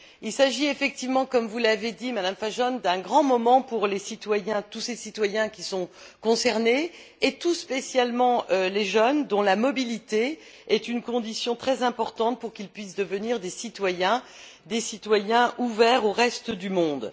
Il s'agit effectivement, comme vous l'avez dit, Madame Fajon, d'un grand moment pour les citoyens, tous ces citoyens qui sont concernés, et tout spécialement les jeunes dont la mobilité est une condition très importante pour qu'ils puissent devenir des citoyens ouverts au reste du monde.